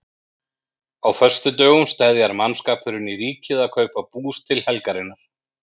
Á föstudögum steðjar mannskapurinn í Ríkið að kaupa bús til helgarinnar.